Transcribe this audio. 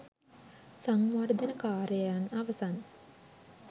සංවර්ධන කාර්යයන් අවසන්